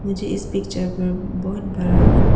मुझे इस पिक्चर पर बहुत बड़ा--